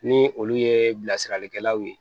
Ni olu ye bilasiralikɛlaw ye